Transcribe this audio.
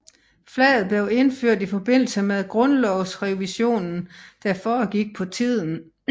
Flaget blev indført i forbindelse med grundlovsrevisionen der foregik på tiden